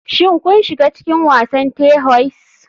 Shin kun shiga cikin wasan terhoise?